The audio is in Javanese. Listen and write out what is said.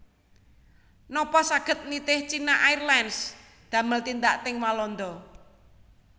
Nopo saget nitih China Airlines damel tindak teng Walanda